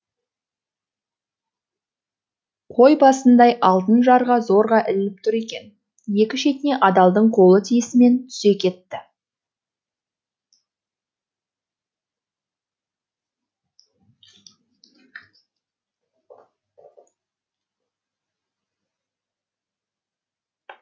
қой басындай алтын жарға зорға ілініп тұр екен екі шетіне адалдың қолы тиісімен түсе кетті